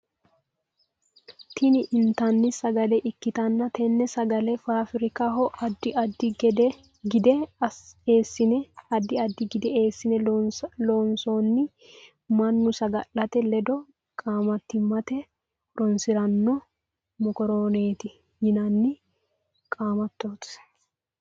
Tinni intanni sagale ikitanna tenne sagale faafirikaho addi addi gide eesine loonsoonni Manu sagalete ledo qaamatimate horoonsirano mokoroonete yinnanni qaamatooti.